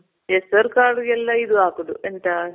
ಹೆಸರ್ಕಾಳುಗೆಲ್ಲ ಇದು ಹಾಕೋದು ಎಂತ